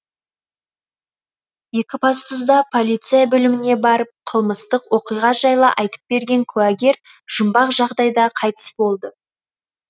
екібастұзда полиция бөліміне барып қылмыстық оқиға жайлы айтып берген куәгер жұмбақ жағдайда қайтыс болды